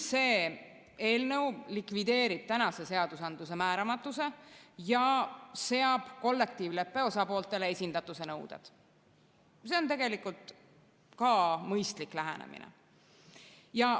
See eelnõu likvideerib tänase seadusandluse määramatuse ja seab kollektiivleppe osapooltele esindatuse nõuded, mis on tegelikult ka mõistlik lähenemine.